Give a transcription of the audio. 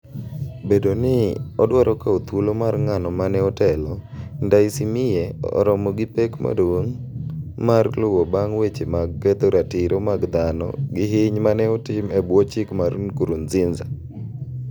Bedo ni odwaro kawo dhuolo mar ng'ano mane otelo, Ndaysimiye oromo gi pek maduong' mar luwo bang' weche mag ketho ratiro mag dhano gi hiny mane otim e bwo chik mar Nkurnziza.